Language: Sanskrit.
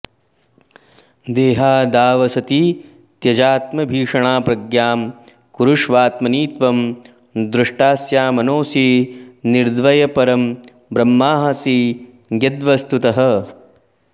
देहादावसति त्यजात्मधिषणां प्रज्ञां कुरुष्वात्मनि त्वं द्रष्टास्यमनोऽसि निर्द्वयपरं ब्रह्मासि यद्वस्तुतः